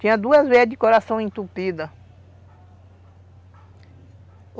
Tinha duas veias de coração entupida.